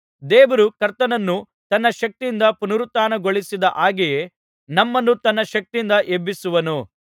ದೇವರು ಕರ್ತನನ್ನು ತನ್ನ ಶಕ್ತಿಯಿಂದ ಪುನರುತ್ಥಾನಗೊಳಿಸಿದ ಹಾಗೆಯೇ ನಮ್ಮನ್ನೂ ತನ್ನ ಶಕ್ತಿಯಿಂದ ಎಬ್ಬಿಸುವನು